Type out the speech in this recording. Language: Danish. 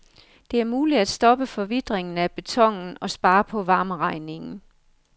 Det er muligt at stoppe forvitringen af betonen og spare på varmeregningen.